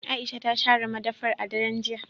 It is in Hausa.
Aisha ta share madafar a daren jiya.